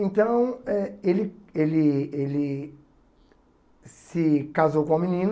Então eh ele ele ele se casou com uma menina